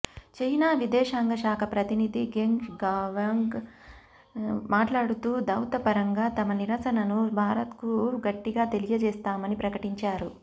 China విదేశాంగ శాఖ ప్రతినిధి గెంగ్ షువాంగ్ మాట్లాడుతూ దౌత్యపరంగా తమ నిరసనను భారత్కు గట్టిగా తెలియచేస్తామని ప్రకటించారు